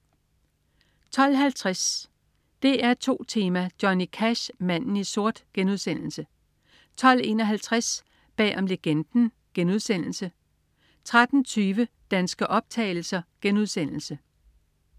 12.50 DR2 Tema: Johnny Cash, manden i sort* 12.51 Bag om Legenden* 13.20 Danske optagelser*